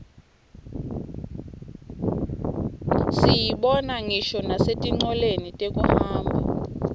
siyibona ngisho nasetincoleni tekuhamba